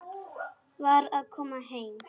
Var að koma heim.